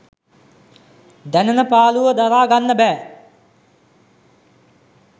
දැනෙන පාළුව දරා ගන්න බෑ